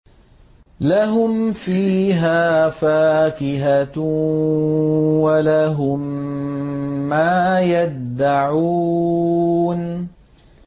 لَهُمْ فِيهَا فَاكِهَةٌ وَلَهُم مَّا يَدَّعُونَ